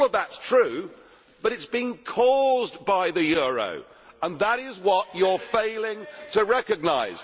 All of that is true, but it is being caused by the euro and that is what the EU is failing to recognise.